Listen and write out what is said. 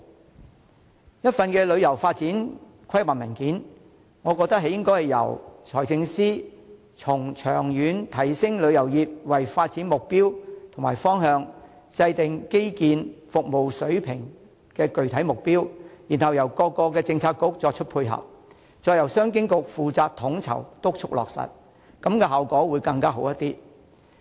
要訂定一份旅遊發展規劃文件，我認為應該由財政司司長從長遠提升旅遊業為發展目標和方向，制訂基建和服務水平的具體目標，由各政策局作出配合，並由商務及經濟發展局負責統籌和督促落實，這樣效果會更好。